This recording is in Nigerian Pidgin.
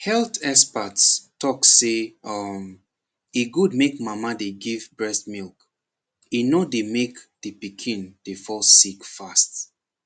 health experts talk say um e good make mama dey give breast milk e nor dey make de pikin dey fall sick fast